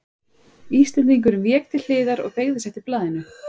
Íslendingurinn vék til hliðar og beygði sig eftir blaðinu.